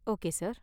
Okay sir.